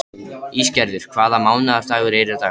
Ísgerður, hvaða mánaðardagur er í dag?